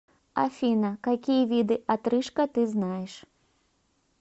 афина какие виды отрыжка ты знаешь